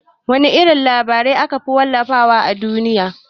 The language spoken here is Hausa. Wana irin labarai akafi wallafa wa a duniya?